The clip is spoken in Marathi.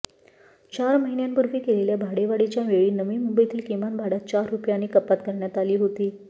चार महिन्यांपूर्वी केलेल्या भाडेवाढीच्या वेळी नवी मुंबईतील किमान भाड्यात चार रुपयांनी कपात करण्यात आली होती